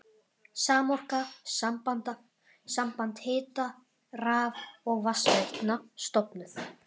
Samorka, samband hita-, raf- og vatnsveitna, stofnuð.